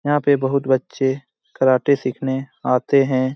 यहां पे बहुत बच्चे कराटे सीखने आते हैं|